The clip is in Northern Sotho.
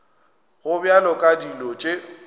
go bjalo ka dilo tše